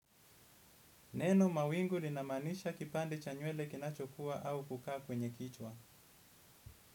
Neno mawingu linamanisha kipande cha nywele kinachokua au kukaa kwenye kichwa.